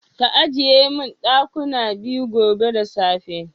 Ka ajiye min dakuna biyu gobe da safe.